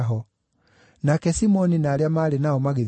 Nake Simoni na arĩa maarĩ nao magĩthiĩ kũmwetha,